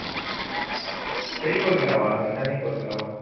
ହେଇ କରିଲା ବା ସେନ୍ତା ହିଁ କରିଲା ହବା